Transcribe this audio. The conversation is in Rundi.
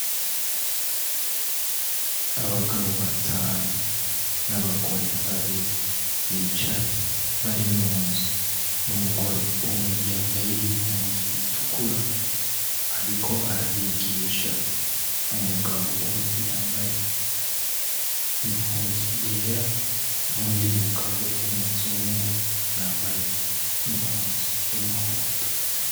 Abagabo batanu n'abagore babiri bicaye bari mu nzu. Umugore umwe yambaye impuzu itukura ariko arabigisha. Umugabo umwe yambaye impuzu yera, n'uwundi mugabo w'umuzungu yambaye impuzu y'umuhondo.